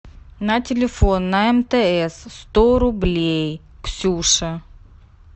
на телефон на мтс сто рублей ксюша